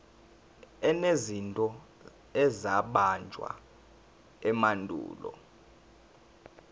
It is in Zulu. enezinto ezabunjwa emandulo